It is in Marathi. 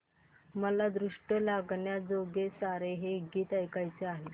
मला दृष्ट लागण्याजोगे सारे हे गीत ऐकायचे आहे